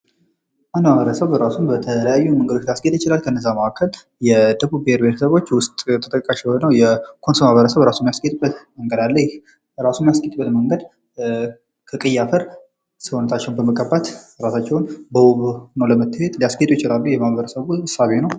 አንድ ማህበረሰብ እራሱን በተለያየ መንገዶች ሊያስጌጥ ይችላል። ከእነዚያ መካከል የደቡብ ብሔር ብሔረሰቦች ዉስጥ ተጠቃሽ የሆነዉ የኮንሶ ማህበረሰብ እራሱን የሚያስጌጥበት መንገድ አለ። ይህ እራሱን የሚያስጌጥበት መንገድ ከቀይ አፈር ሰዉነታቸዉን በመቀባት እራሳቸዉን ዉብ ሆነዉ ለመታየት ሊያስጌጡ ይችላሉ። የማህበረሰቡ እሳቤ ነዉ።